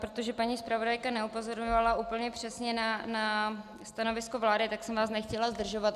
Protože paní zpravodajka neupozorňovala úplně přesně na stanovisko vlády, tak jsem vás nechtěla zdržovat.